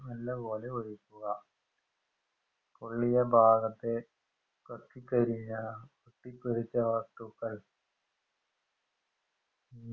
നല്ലപോലെ ഒഴിക്കുക പൊള്ളിയഭാഗത്തെ കത്തിക്കരിഞ്ഞ ഒട്ടിപ്പിടിച്ച വസ്തുക്കൾ